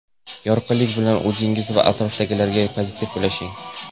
Yorqinlik bilan o‘zingiz va atrofdagilarga pozitiv ulashing.